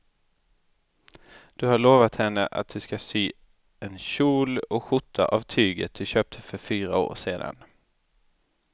Du har lovat henne att du ska sy en kjol och skjorta av tyget du köpte för fyra år sedan.